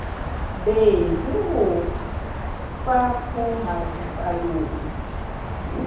be le ho fapoha dipallong